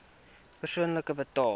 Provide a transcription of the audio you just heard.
persoonlik betaal